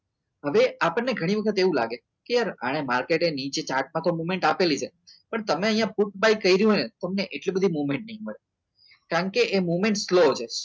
હવે આપણને ઘણી વખત એવું લાગે કે આપણે કે આર આ માર્કેટ નીચે ચાટમાં મોમેન્ટ આપેલી છે પણ તમે અહીંયા ફોટો કર્યો ને તો તમને એટલી બધી movement નહીં મળે કારણ કે એ movement slow છે